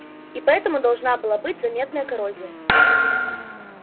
и поэтому должна была быть заметная коррозия